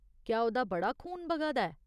क्या ओह्दा बड़ा खून बगा दा ऐ ?